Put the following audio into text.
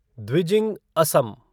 Dwijing Assam